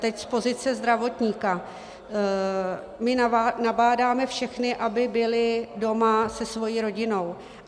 Teď z pozice zdravotníka - my nabádáme všechny, aby byli doma se svou rodinou.